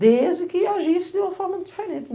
Desde que eu agisse de uma forma diferente.